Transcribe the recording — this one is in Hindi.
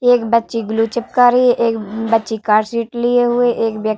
एक बच्चे ग्लू चिपका रही है। एक ब् बच्ची कार् शीट लिए हुए है। एक व्य --